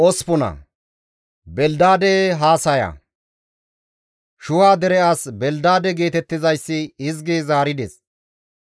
Shuha dere as Belidaade geetettizayssi hizgidi zaarides;